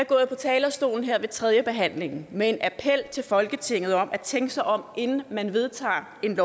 gået på talerstolen her ved tredjebehandlingen med en appel til folketinget om at tænke sig om inden man vedtager et